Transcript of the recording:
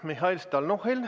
Mihhail Stalnuhhin!